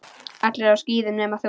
Allir á skíðum nema þú.